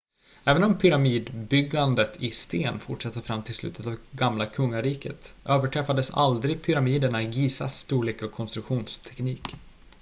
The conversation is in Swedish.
även om pyramidbyggandet i sten fortsatte fram till slutet av gamla kungariket överträffades aldrig pyramiderna i gizas storlek och konstruktionsteknik